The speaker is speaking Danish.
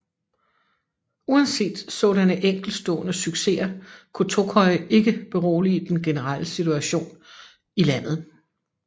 Uanset sådanne enkeltstående succeser kunne Tokoi ikke berolige den generelle situation i landet